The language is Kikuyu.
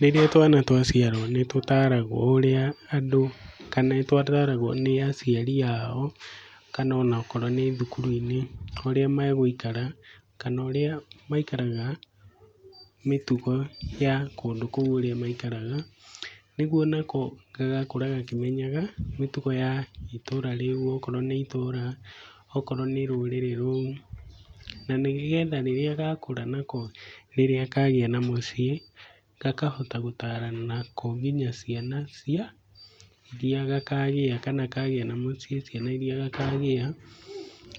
Rĩrĩa twana twaciarwo, nĩ tũtaragwo ũrĩa andũ, kana nĩtũtaragwo nĩ aciari ao kana onakorwo nĩ thukuru-inĩ, ũrĩa megũikara kana ũrĩa maikaraga mĩtugo ya kũndũ kũu ũrĩa maikaraga. Nĩguo nako gagakũra gakĩmenyaga, mĩtugo ya itũra rĩu, okorwo nĩ itũra, okorwo nĩ rũrĩrĩ rũu. Na nĩgetha rĩrĩa gakũra, nako rĩrĩa kagĩa na mũciĩ, gakahota gũtarana nako nginya ciana cia iria gakagĩa kana kagĩa na mũciĩ ciana iria gakagĩa.